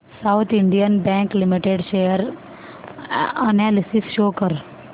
south Indian bank limited share analysis show कर